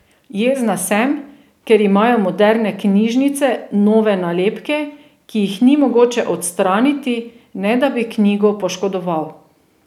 Jezna sem, ker imajo moderne knjižnice nove nalepke, ki jih ni mogoče odstraniti, ne da bi knjigo poškodoval.